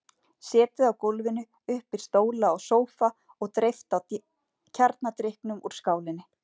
Setið á gólfinu upp við stóla og sófa og dreypt á kjarnadrykknum úr skálinni.